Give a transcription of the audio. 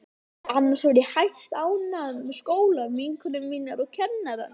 Annars var ég hæstánægð með skólann, vinkonur mínar og kennarana.